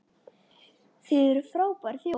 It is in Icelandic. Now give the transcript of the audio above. Þið eruð frábær þjóð!